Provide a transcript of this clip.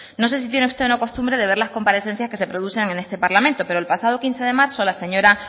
no sé si tiene usted la costumbre de ver las comparecencias que se producen este parlamento pero el pasado quince de marzo la señora